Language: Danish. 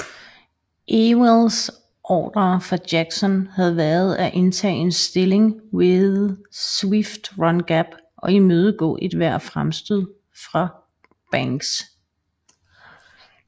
Ewells ordrer fra Jackson havde været at indtage en stilling ved Swift Run Gap og imødegå ethvert fremstød fra Banks